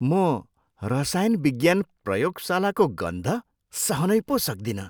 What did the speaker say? म रसायन विज्ञान प्रयोगशालाको गन्ध सहनै पो सक्दिनँ।